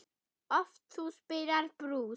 oft þú spilar brús.